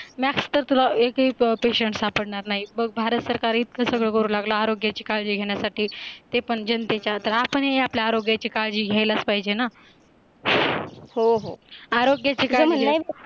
max तर तुला एकही पेशंट सापडणार नाही बघ भारत सरकार इतकं सगळं करू लागला आरोग्याची काळजी घेण्यासाठी ते पण जनतेच्या त्रास आणि आपल्या आरोग्याची काळजी घ्यायलाच पाहिजे ना हो हो आरोग्य च जमल नाही